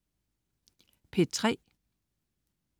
P3: